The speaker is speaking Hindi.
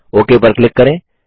ओक पर क्लिक करें